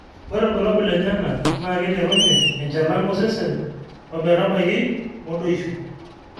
ore irbulalabul lenyenak na keiterunye enchalan osesen ometabai modoisho